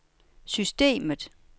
systemet